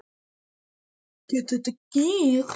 Gæti þetta gerst?